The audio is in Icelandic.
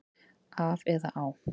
Af eða á?